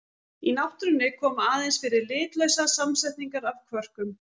Í náttúrunni koma aðeins fyrir litlausar samsetningar af kvörkum.